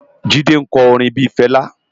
Jide nkò órin bi Fela